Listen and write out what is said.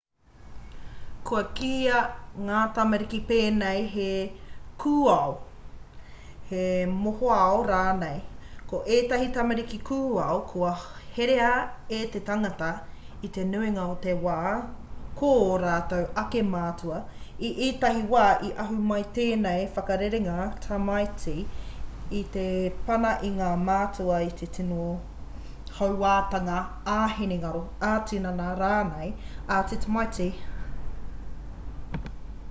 kua kīia ngā tamariki pēnei he kūao he mohoao rānei. ko ētahi tamariki kūao kua herea e te tangata i te nuinga o te wā ko ō rātou ake mātua; i ētahi wā i ahu mai tēnei whakarerenga tamaiti i te pana a ngā mātua i te tino hauātanga ā-hinengaro ā-tinana rānei a te tamaiti